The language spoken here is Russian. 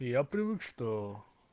я привык что